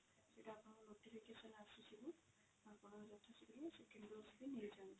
ସେଠି ଆପଣଙ୍କୁ notification ଆସିଯିବ ଆପଣ ଯଥା ଶୀଘ୍ର second dose ବି ନେଇଯାଅନ୍ତୁ।